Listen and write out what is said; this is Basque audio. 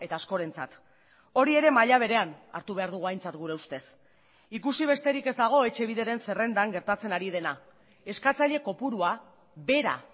askorentzat hori ere maila berean hartu behar dugu aintzat gure ustez ikusi besterik ez dago etxebideren zerrendan gertatzen ari dena eskatzaile kopurua behera